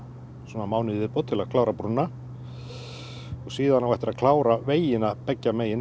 mánuð í viðbót til að klára brúna síðan á eftir að klára vegina beggja megin